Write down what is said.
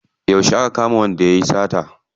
Yauce aka kama wanda yayi sata?